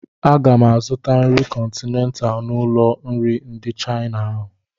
Aga m azụta nri kọntinent n'ụlọ nri ndị Chaịna ahụ.